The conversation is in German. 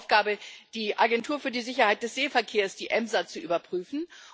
Ich hatte die Aufgabe, die Agentur für die Sicherheit des Seeverkehrs, die EMSA, zu überprüfen.